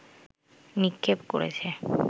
নিক্ষেপ করেছে